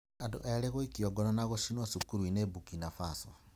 Andũ eerĩ gũikio ngono na gũcinwo cukuru-inĩ Burkina Faso